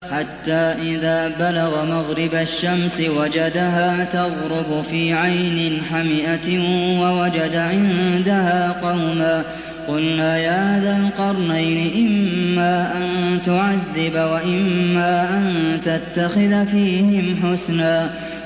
حَتَّىٰ إِذَا بَلَغَ مَغْرِبَ الشَّمْسِ وَجَدَهَا تَغْرُبُ فِي عَيْنٍ حَمِئَةٍ وَوَجَدَ عِندَهَا قَوْمًا ۗ قُلْنَا يَا ذَا الْقَرْنَيْنِ إِمَّا أَن تُعَذِّبَ وَإِمَّا أَن تَتَّخِذَ فِيهِمْ حُسْنًا